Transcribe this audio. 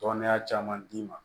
Tɔndenya caman d'i ma